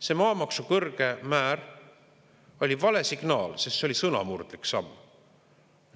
See maamaksu kõrge määr oli vale signaal, sest see oli sõnamurdlik samm.